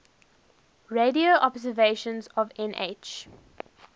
radio observations of nh